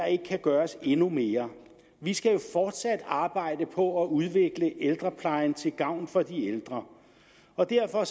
ikke kan gøres endnu mere vi skal jo fortsat arbejde på at udvikle ældreplejen til gavn for de ældre og derfor